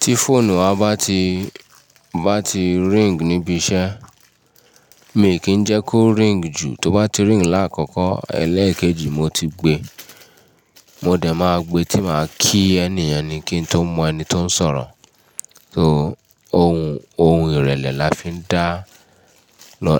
Tí fóònù wa bá ti, bá ti ring níbi iṣẹ́, mi kì n jẹ́ kó ring jù, tó bá ti ring láàkkọ́ ẹ́lẹ́ẹ̀kejì mo ti gbe, mo dẹ̀ máa gbe tí màá kí ẹniyen ni kí n tó mọ ẹni tó ń sọ̀rọ̀. So ohun, ohun ìrẹ̀lẹ̀ la fi ń dá,